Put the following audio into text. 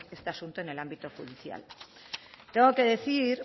este asunto en el ámbito judicial tengo que decir